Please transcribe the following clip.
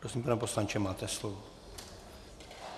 Prosím, pane poslanče, máte slovo.